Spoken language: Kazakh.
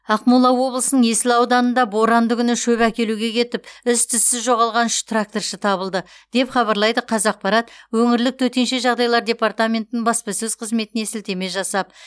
ақмола облысының есіл ауданында боранды күні шөп әкелуге кетіп із түзсіз жоғалған үш тракторшы табылды деп хабарлайды қазақпарат өңірлік төтенше жағдайлар департаментінің баспасөз қызметіне сілтеме жасап